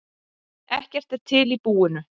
Ekkert er til í búinu.